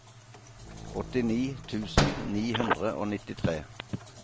åttini tusen ni hundre og nittitre